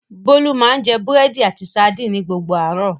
Bólú máa ń jẹ búrẹ́dì àti sadínì ni gbogbo àárọ̀.